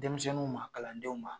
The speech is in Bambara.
Denmisɛnninw ma kalandenw ma